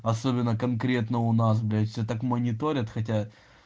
особенно конкретно у нас блять все так мониторят хотя